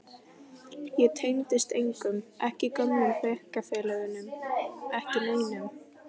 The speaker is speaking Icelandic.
Ég tengdist engum, ekki gömlu bekkjarfélögunum, ekki neinum.